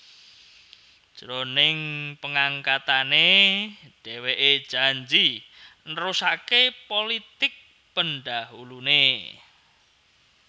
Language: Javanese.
Jroning pangangkatané dhèwèké janji nerusaké pulitik pendahuluné